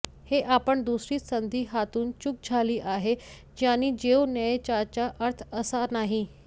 हे आपण दुसरी संधी हातून चूक झाली आहे ज्यांनी देऊ नये याचा अर्थ असा नाही